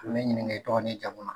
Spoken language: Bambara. U bi n'i ɲininka i tɔgɔ n'i jamu na.